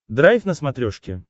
драйв на смотрешке